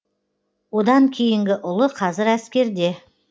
одан кейінгі ұлы қазір әскерде